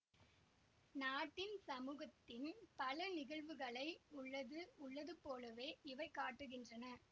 நாட்டின்சமூகத்தின் பல நிகழ்வுகளை உள்ளது உள்ளது போலவே இவை காட்டுகின்றன